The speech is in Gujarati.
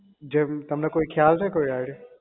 જેમ તમને કોઈ ખ્યાલ છે કોઈ idea